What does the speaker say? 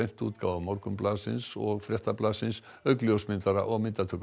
prentútgáfu Morgunblaðsins og Fréttablaðsins auk ljósmyndara og